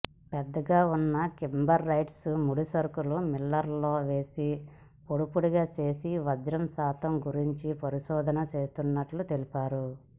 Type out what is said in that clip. పెద్దగా ఉన్న కింబర్లైట్స్ ముడి సరుకును మిల్లర్లో వేసి పొడిపొడిగా చేసి వజ్రం శాతం గురించి పరిశోధన చేస్తున్నట్లు తెలిపారు